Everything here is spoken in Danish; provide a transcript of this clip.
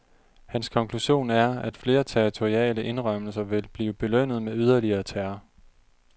Hans konklusion er, at flere territoriale indrømmelser vil blive belønnet med yderligere terror.